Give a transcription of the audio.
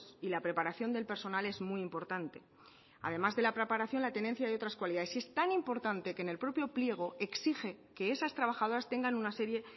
y la preparación del personal es muy importante además de la preparación la tenencia de otras cualidades es tan importante que en el propio pliego exige que esas trabajadoras tengan una serie